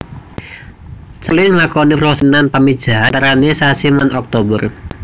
Capelin nglakoni proses kawinan pamijahan antarane sasi Maret lan Oktober